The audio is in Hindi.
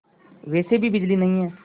वैसे भी बिजली नहीं है